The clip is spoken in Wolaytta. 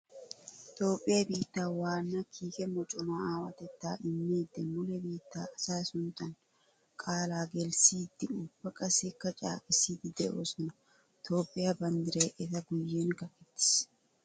Toophphiya biitta waana kiikke mocona aawatetta immiidde mule biitte asaa sunttan qaala gelisside ubba qassikka caaqqissidde de'osonna. Toophphiya banddiray etta guyen kaqqettis.